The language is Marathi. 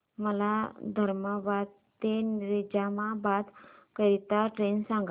मला धर्माबाद ते निजामाबाद करीता ट्रेन सांगा